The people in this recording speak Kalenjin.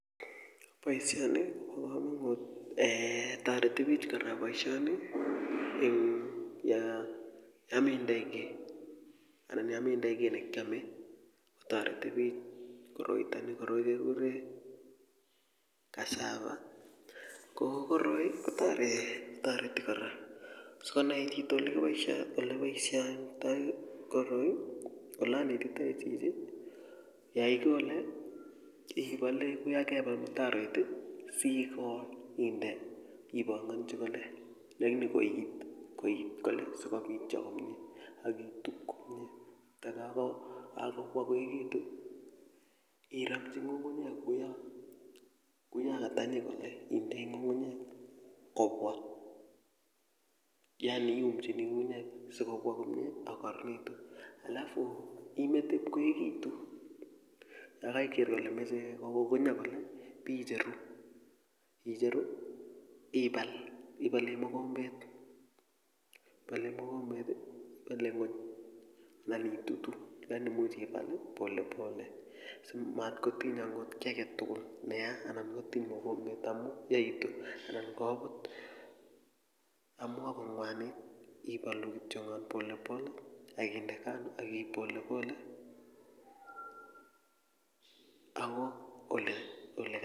Boisioni kobo komonut eeh toreti bik kora boisioni mmh yo metindoi kiy anan yo metindoi kiy nekiome toreti bich koroitoni koroi kekure cassava ko koroi kotoreti toreti kora sikonai chito ole boisioitoi koroi ole anetitoi chichi yoikole ibale kouyo kebal mtaroit siikol inde ibongonji kole lakini koit koit kole sikobityo komye akitub komye takakobwa koekitu iramji ngungunyek kouyo katanyi kole indoi ngungunyek kobwa yaani iumchini ngunyek sikobwa komye akokararanitu alafu imete ipkoeekitu yokoiker kole meche kokokonyo kole biicheru ibal ibole mokombet ibole mokombet ibole ngony anan itutu lakini imuch ibal pole pole simatkotiny angot kiy aketugul neya ana kotiny mokombet amu yaitu anan kobut amu akoi konwanit ibolu kityongon pole pole akinde kando akiib pole pole ako ole kai.